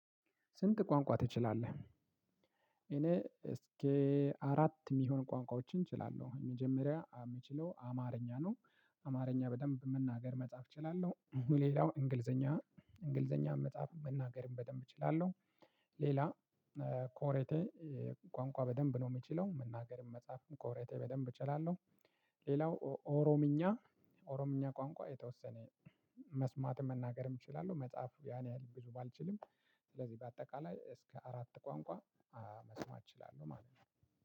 ስንት ቋንቋ ትችላለህ? እኔ እስከ አራት እሚሆን ቋንቋዎችን እችላለሁ መጀመሪያ የምችለው አማርኛ ነው። አማርኛ በደንብ መናገር መጻፍ እችላለሁ ሌላው እንግልዘኛ እንግልዘኛ መጻፍም መናገርም በደንብ እችላለሁ። ሌላ ኮሬቴ ቋንቋ በደንብ ነው የምችለው መናገርም መጻፍም ኮብረቴ በደንብ እችላለሁ። ሌላው ኦሮምኛ ኦሮምኛ ቋንቋ የተወሰነ መስማትም መናገርም እችላለሁ መጽሐፉ ያን ያህል ብዙ ባልችልም። ስለዚህ በአጠቃላይ እስከ አራት ቋንቋ መስማት እችላለሁ ማለት ነው።